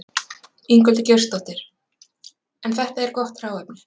Ingveldur Geirsdóttir: En þetta er gott hráefni?